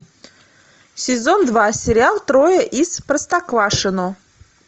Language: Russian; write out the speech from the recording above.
сезон два сериал трое из простоквашино